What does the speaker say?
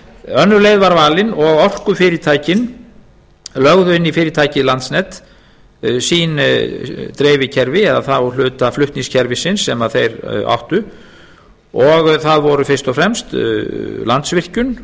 önnur leið var valin og orkufyrirtækin lögðu inn í fyrirtækið landsnet sín dreifikerfi eða þá hluta flutningskerfisins sem þeir áttu og það voru fyrst og fremst landsvirkjun